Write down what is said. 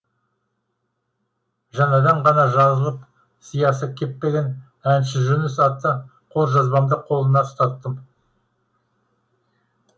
жаңада ғана жазылып сиясы кеппеген әнші жүніс атты қолжазбамды қолына ұстаттым